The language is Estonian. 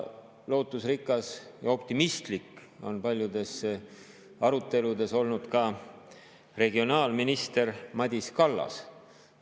Lootusrikas ja optimistlik on paljudes aruteludes olnud ka regionaalminister Madis Kallas.